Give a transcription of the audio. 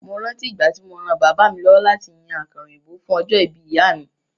Mo rántí ìgbà tí mo ran bàbá mi lọ́wọ́ láti yan àkàrà òyìnbó fún ọjọ́ ìbí ìyá mi.